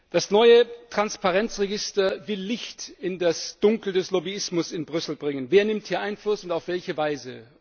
Das neue Transparenz Register will Licht in das Dunkel des Lobbyismus in Brüssel bringen Wer nimmt hier Einfluss und auf welche Weise?